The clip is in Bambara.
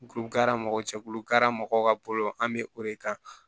Duku kara mɔgɔ cɛkulu ka mɔgɔw ka bolo an bɛ o de kan